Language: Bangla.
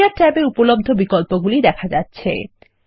এরিয়া ট্যাব এ উপলব্ধ বিকল্পগুলি দেখা যাচ্ছে